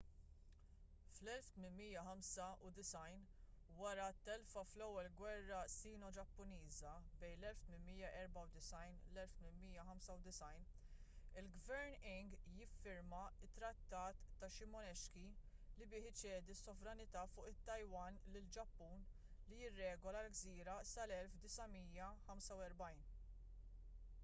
fl-1895 wara telfa fl-ewwel gwerra sino-ġappuniża 1894-1895 il-gvern qing jiffirma t-trattat ta’ shimonoseki li bih iċedi s-sovranità fuq it-taiwan lill-ġappun li jirregola l-gżira sal-1945